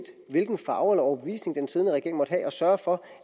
hvilken farve eller overbevisning den siddende regering måtte have at sørge for